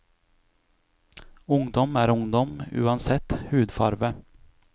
Ungdom er ungdom, uansett hudfarve.